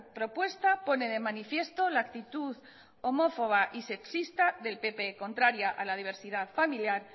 propuesta pone de manifiesto la actitud homófoba y sexista del pp contraria a la diversidad familiar